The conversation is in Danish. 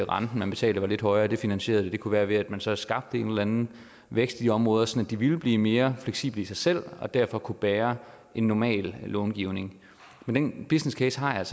renten man betaler var lidt højere det finansierede det det kunne være ved at man så skabte en eller anden vækst i de områder så de ville blive mere fleksible i sig selv og derfor kunne bære en normal långivning den businesscase har jeg